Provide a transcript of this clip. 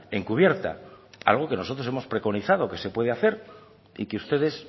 encubierta algo que nosotros hemos preconizado que se puede hacer y que ustedes